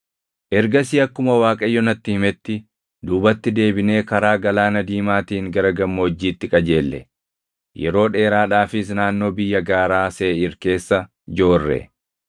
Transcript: Ergasii akkuma Waaqayyo natti himetti, duubatti deebinee karaa Galaana Diimaatiin gara gammoojjiitti qajeelle; yeroo dheeraadhaafis naannoo biyya gaaraa Seeʼiir keessa joorre.